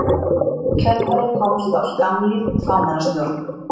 Í kjölfarið komst á skammlíf fámennisstjórn.